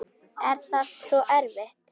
Er það svo erfitt?